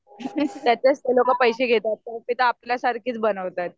त्याचेच तर लोकं पैसे घेतात तिथे आपल्यासारखीच बनवतात.